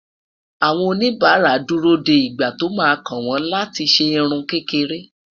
àwọn oníbara dù rò dé ìgbà tó má kàn wọn láti ṣé irún kékeré